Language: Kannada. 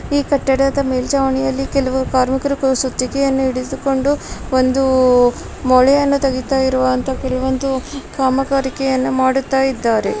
ಈ ಕಟ್ಟಡದ ಮೇಲ್ಚಾವಣಿಯಲ್ಲಿ ಕೆಲವು ಕಾರ್ಮಿಕರು ಸುತ್ತಿಗೆಯನ್ನು ಹಿಡಿದುಕೊಂಡು ಒಂದು ಮೊಳೆಯನ್ನು ತೆಗೆತ್ತಾ ಇರುವಂತಹ ಕೆಲ ಒಂದು ಕಾಮಗಾರಿಕೆಯನ್ನು ಮಾಡುತ್ತಿದ್ದಾರೆ .